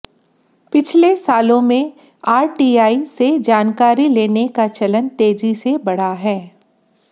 पिछले सालों में आरटीआई से जानकारी लेने का चलन तेजी से बढ़ा है